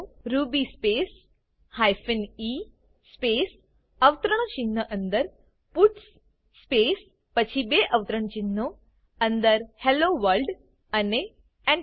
Ruby space hyphen e space અવતરણચિહ્નો અંદર puts space પછી બે અવતરણચિહ્નો અંદર હેલ્લો વર્લ્ડ અને Enter